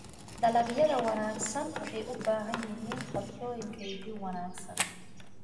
Dalagyada wanaagsan waxay u baahan yihiin qorshooyin kaydin wanaagsan.